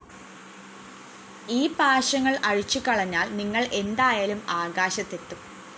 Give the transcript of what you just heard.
ഈ പാശങ്ങള്‍ അഴിച്ചു കളഞ്ഞാല്‍ നിങ്ങള്‍ എന്തായാലും ആകാശത്ത് എത്തും